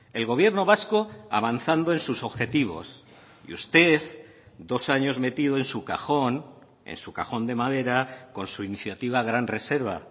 el gobierno vasco avanzando en sus objetivos y usted dos años metido en su cajón en su cajón de madera con su iniciativa gran reserva